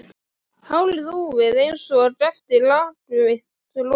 Hárið úfið einsog eftir langvinnt rok.